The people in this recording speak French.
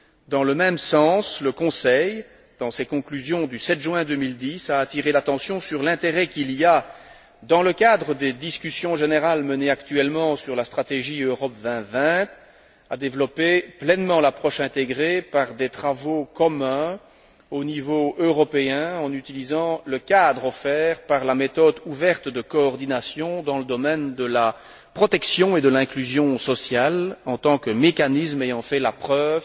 Dans le même sens, le Conseil, dans ses conclusions du 7 juin 2010, a attiré l'attention sur l'intérêt qu'il y a, dans le cadre des discussions générales menées actuellement sur la stratégie Europe 2020, à développer pleinement l'approche intégrée par des travaux communs, au niveau européen, en utilisant le cadre offert par la méthode ouverte de coordination dans le domaine de la protection et de l'inclusion sociale en tant que mécanisme ayant fait la preuve